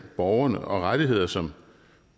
borgerne og rettigheder som